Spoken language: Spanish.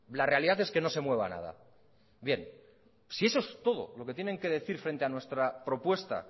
la realidad es que no se mueva nada bien si eso es todo lo que tienen que decir frente a nuestra propuesta